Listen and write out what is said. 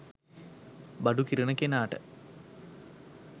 බඩු කිරන කෙනාට